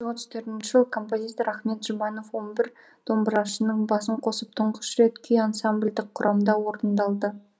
мың тоғыз жүз отыз төртінші жылы композитор ахмет жұбанов он бір домбырашының басын қосып тұңғыш рет күй ансамбльдік құрамда орындалды